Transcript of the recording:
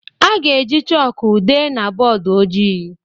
A ga-eji chọkụ dee na bọọdụ ojii